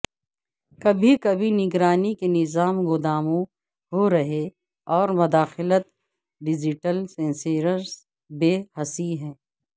کبھی کبھی نگرانی کے نظام گوداموں ہورہے اور مداخلت ڈیجیٹل سینسر بے حسی ہے